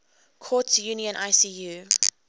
courts union icu